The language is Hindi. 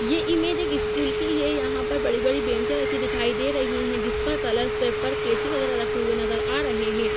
ये इमेज एक स्कूल की है। यहाँ पर बड़ी-बड़ी बेंचे रखी दिखाई दे रही हैं जिस पर कलर्स पेपर कैंची वगेरा रखे हुए नजर आ रहे हैं।